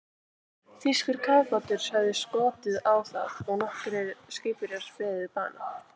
Þýskur kafbátur hafði skotið á það og nokkrir skipverjar beðið bana.